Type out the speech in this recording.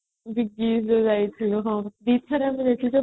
big ଆମେ ଯୋଉ ଯାଇଥିଲୁ ହଁ ଦିଥର ଆମେ ଯାଇଥିଲୁ